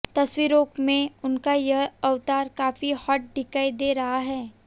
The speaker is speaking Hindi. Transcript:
तस्वीरों में उनका यह अवतार काफी हॉट दिखाई दे रहा है